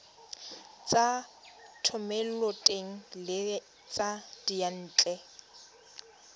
tsa thomeloteng le tsa diyantle